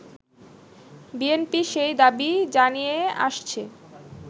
BNP সেই দাবি জানিয়ে আসছে